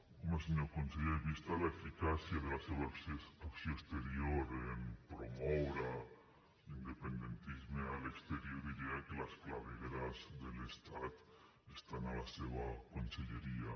home senyor conseller vista l’eficàcia de la seva acció exterior en promoure l’independentisme a l’exterior diria que les clavegueres de l’estat estan a la seva conselleria